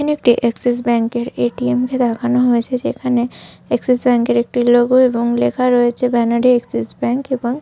এখানে একটি Axis bank এর এ.টি.এম. কে দেখানো হয়েছে যেখানে এক্সিস ব্যাঙ্ক এর একটি লোগো এবং লেখা রয়েছে ব্যানার এ এক্সিস ব্যাঙ্ক এবং।